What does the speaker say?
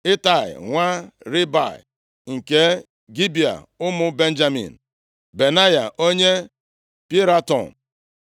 Itai nwa Ribai, nke Gibea ụmụ Benjamin, Benaya onye Piraton,